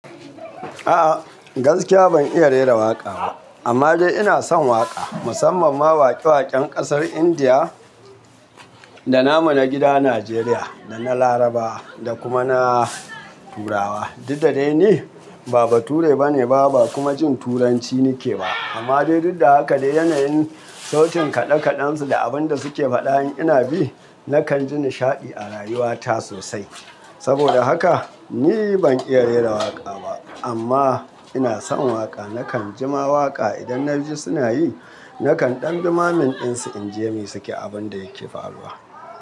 A'a gaskiya ban iya rera waƙa ba amma dai ina son waƙa musamman ma waƙe waƙen ƙasar Indiya da namu na gida Najeriya da na Larabawa da kuma na Turawa. Duddai ni, baba ture bane ba kuma jin turanci nike ba amma dai duddaha ka dai yanayin sautin kaɗe kaɗen su da abun da suke faɗa in ina bi nakan ji nishaɗi a rayuwata sosai. Saboda haka ni ban iya rera waƙa ba amma ina son waƙa. Nakan jima waƙa idan na ji suna yi. Nakan ɗan dumamin ɗin su in ji me suke abun da yake faruwa.